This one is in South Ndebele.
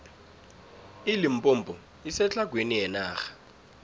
ilimpompo isetlhagwini yenarha